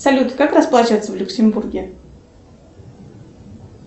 салют как расплачиваться в люксембурге